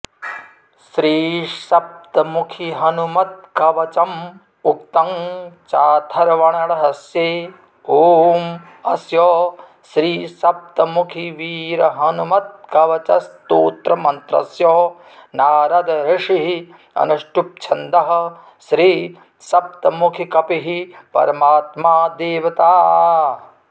श्रीसप्तमुखिहनुमत्कवचम् उक्तं चाथर्वणरहस्ये ॐ अस्य श्री सप्तमुखिवीरहनुमत्कवचस्तोत्रमन्त्रस्य नारदऋषिः अनुष्टुप्छंदः श्री सप्तमुखिकपिः परमात्मा देवता